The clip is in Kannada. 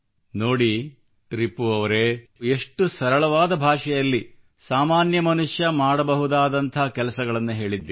ನೋಡಿ ರಿಪು ಅವರೇ ಎಷ್ಟು ಸರಳ ಭಾಷೆಯಲ್ಲಿ ಸಾಮಾನ್ಯ ಮನುಷ್ಯ ಮಾಡಬಹುದಾದಂತಹ ಕೆಲಸಗಳನ್ನು ಹೇಳಿದ್ದೀರಿ